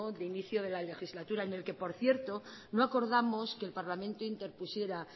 de inicio de la legislatura en el que por cierto no acordamos que el parlamento interpusiera